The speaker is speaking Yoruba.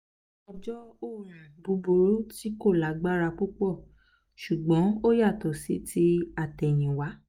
ó jẹ́ òórùn búburú tí kò lágbára púpọ̀ ṣùgbọ́n ó yàtọ̀ sí ti àtẹ̀yìnwá